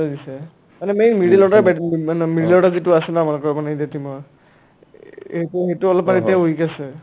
দিছে অলপ weak আছে